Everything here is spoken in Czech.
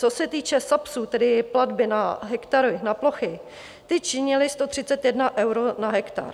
Co se týče SAPSu, tedy platby na hektary, na plochy, ty činily 131 euro na hektar.